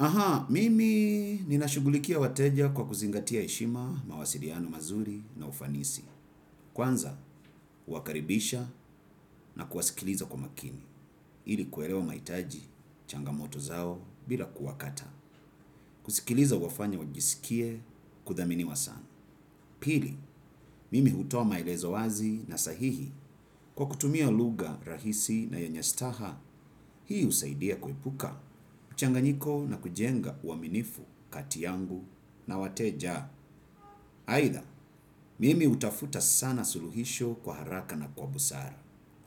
Aha, mimi nina shugulikia wateja kwa kuzingatia heshima mawasiliano mazuri na ufanisi. Kwanza, huwakaribisha na kuwasikiliza kwa makini. Ili kuelewa maitaji changamoto zao bila kuwakata. Kusikiliza huwafanya wajisikie kudhaminiwa sana. Pili, mimi hutoa maelezo wazi na sahihi kwa kutumia lugha rahisi na yenye staha. Hii usaidia kuepuka, mchanganyiko na kujenga uaminifu, kati yangu na wateja. Haitha, mimi utafuta sana suluhisho kwa haraka na kwa busara,